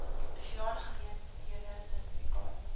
spesiale geleenthede sertifikaat